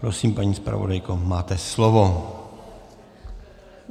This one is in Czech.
Prosím, paní zpravodajko, máte slovo.